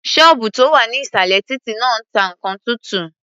Ṣọ́ọ̀bù tó wà ní ìsàlẹ̀ títí náà ta nǹkan tuntun.